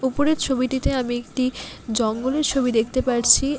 ওপরের ছবিটিতে আমি একটি জঙ্গলের ছবি দেখতে পারছি আ--